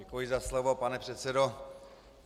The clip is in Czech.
Děkuji za slovo, pane předsedo.